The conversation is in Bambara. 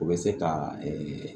O bɛ se ka